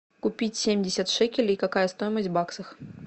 купить семьдесят шекелей какая стоимость в баксах